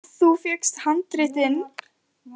Þú fékkst handritin.